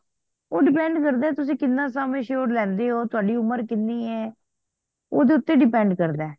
ਉਹ depend ਕਰਦਾ ਤੁਸੀ ਕਿਹਨਾਂ sum assured ਲੈਂਦੇ ਹੋ ਤੁਹਾਡੀ ਉਮਰ ਕਿਹਨੀ ਆ ਓਹਦੇ ਉੱਤੇ depend ਕਰਦਾ